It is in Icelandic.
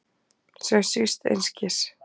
Sem svífst einskis.